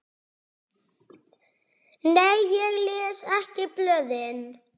Nei ég les ekki blöðin.